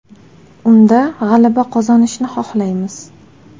Unda g‘alaba qozonishni xohlaymiz.